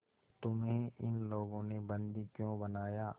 तुम्हें इन लोगों ने बंदी क्यों बनाया